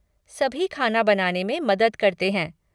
सभी ख़ाना बनाने में मदद करते हैं।